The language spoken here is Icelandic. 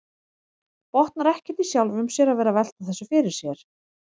Botnar ekkert í sjálfum sér að vera að velta þessu fyrir sér.